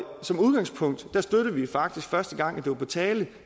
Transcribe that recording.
som udgangspunkt støttede vi faktisk første gang det var på tale